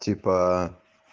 типа